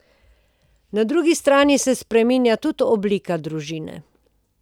Na drugi strani se spreminja tudi oblika družine.